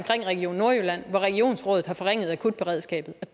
region nordjylland hvor regionsrådet har forringet akutberedskabet og